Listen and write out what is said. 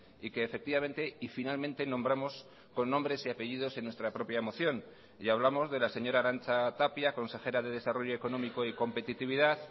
y que efectivamente y finalmente nombramos con nombres y apellidos en nuestra propia moción y hablamos de la señora arantxa tapia consejera de desarrollo económico y competitividad